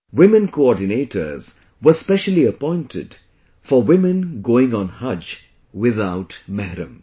Women coordinators were specially appointed for women going on 'Haj' without Mehram